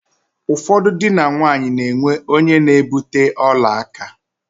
Ụfọdụ dị na nwaanyi na-enwe onye na-ebute ọla aka.